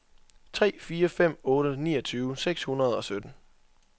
tre fire fem otte niogtyve seks hundrede og sytten